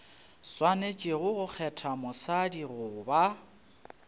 swanetše go kgetha mosadi goba